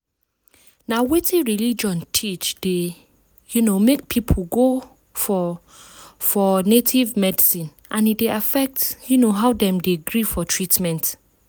na wetin religion teach dey um make people go for go for native medicine and e dey affect um how dem dey gree for treatment.